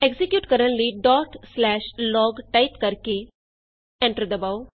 execute ਕਰਨ ਲਈ log type ਕਰਕੇ ਐਂਟਰ ਦਬਾਉ